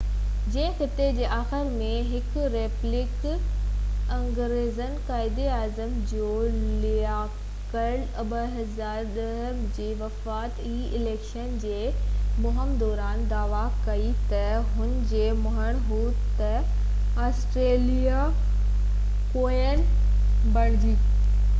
نگران وزيراعظم Julia Gillard 2010 جي وفاقي اليڪشن جي مهم دوران دعويٰ ڪئي ته هُن جو مڃڻ هو ته آسٽريليا ڪوين ايلزبيٿ ii جي خطي جي آخر ۾ هڪ ريپبلڪ بڻجي